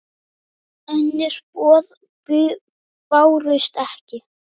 Önnur boð bárust ekki.